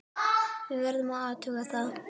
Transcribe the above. Við verðum að athuga það.